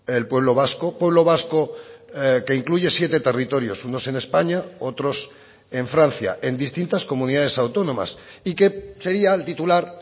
el pueblo vasco pueblo vasco que incluye siete territorios unos en españa otros en francia en distintas comunidades autónomas y que sería el titular